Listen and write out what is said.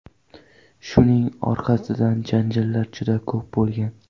Shuning orqasidan janjallar juda ko‘p bo‘lgan.